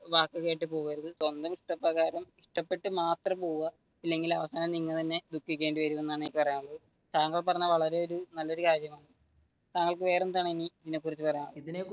വാക്കു കേട്ട് പോവരുത് സ്വന്തം ഇഷ്ട പ്രകാരം ഇഷ്ടപ്പെട്ടു മാത്രം പോവുക അല്ലെങ്കിൽ അവസാനം നിങ്ങൾ തന്നെ ദുഖിക്കേണ്ടി വരുമെന്നാണ് എനിക്ക് പറയാനുള്ളത്. താങ്കൾ പറഞ്ഞത് വളരെ നല്ല ഒരു കാര്യമാണ് താങ്കൾക്ക് വേറെയെന്താണ്, ഇതിനെ കുറിച്ച് പറയാനുള്ളത്?